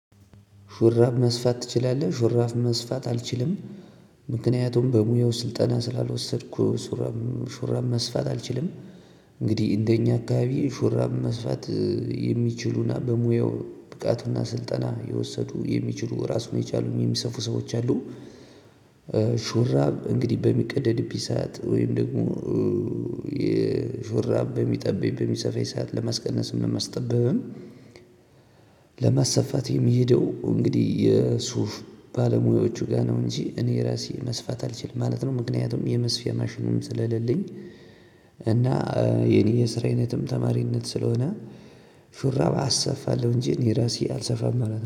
ሹራብ መስፋት ትችላለህ ሹራብ መስፋት አልችልም ምክንያቱም በሙያው ስልጠና ስላልወሰድኩ ሹራብ መስፋት አልችልም። እንግዲህ እንደኛ አካባቢ ሹራም መስፋት የሚችሉና በሙያው ብቃቱና ስልጠና የወሰዱ የሚችሉ ራሱን የቻሉ የሚሰፉ ሰዎች አሉ። ሹራብ እንግዲህ በሚቀደድብኝ ሰዓት ወይም ደግሞ የሹራብ በሚጠበኝ በሚሰፋኝ ሰዓት ለማስቀነስም ለማስጠበብም። ለማሰፋት የምሄደው እንግዲህ የሱፍ ባለሙያዎቹ ጋር ነው እንጂ እኔ ራሴ መስፋት አልችልም ማለት ነው። ምክንያቱም የመስፊያ ማሽኑም ስለሌለኝ። እና የኔ የስራ አይነት ተማሪነት ስለሆነ ሹራብ አሰፋለሁ እንጂ እኔ ራሴ አልሰፋም